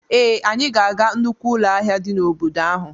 Ee, anyị ga-aga nnukwu ụlọ ahịa dị n'obodo ahụ.